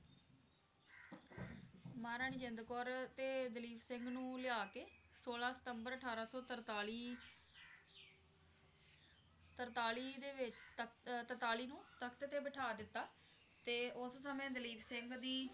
ਮਹਾਰਾਣੀ ਜਿੰਦ ਕੌਰ ਤੇ ਦਲੀਪ ਸਿੰਘ ਨੂੰ ਲਿਆ ਕੇ ਛੋਲਾਂ ਸਤੰਬਰ ਅਠਾਰਾਂ ਸੌ ਤਰਤਾਲੀ ਤਰਤਾਲੀ ਦੇ ਵਿੱਚ ਤਖ਼~ ਅਹ ਤਰਤਾਲੀ ਨੂੰ ਤਖ਼ਤ ਤੇ ਬਿਠਾ ਦਿੱਤਾ ਤੇ ਉਸ ਸਮੇਂ ਦਲੀਪ ਸਿੰਘ ਦੀ